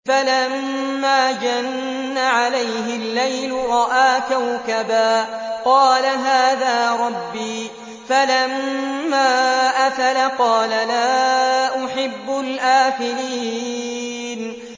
فَلَمَّا جَنَّ عَلَيْهِ اللَّيْلُ رَأَىٰ كَوْكَبًا ۖ قَالَ هَٰذَا رَبِّي ۖ فَلَمَّا أَفَلَ قَالَ لَا أُحِبُّ الْآفِلِينَ